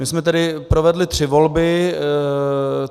My jsme tedy provedli tři volby.